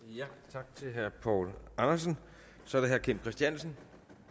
tak til herre poul andersen så er det herre kim christiansen